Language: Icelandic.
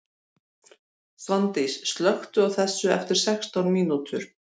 Svandís, slökktu á þessu eftir sextán mínútur.